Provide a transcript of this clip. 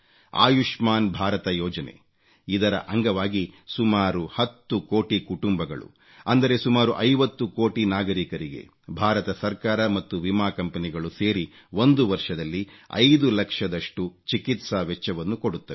ಆಯುಷ್ಮಾನ್ ಭಾರತ ಯೋಜನೆ ಇದರ ಅಂಗವಾಗಿ ಸುಮಾರು 10 ಕೋಟಿ ಕುಟುಂಬಗಳು ಅಂದರೆ ಸುಮಾರು 50 ಕೋಟಿ ನಾಗರೀಕರಿಗೆ ಭಾರತ ಸರ್ಕಾರ ಮತ್ತು ವಿಮಾ ಕಂಪನಿಗಳು ಸೇರಿ ಒಂದು ವರ್ಷದಲ್ಲಿ 5 ಲಕ್ಷದಷ್ಟು ಚಿಕಿತ್ಸಾ ವೆಚ್ಚವನ್ನು ಕೊಡುತ್ತವೆ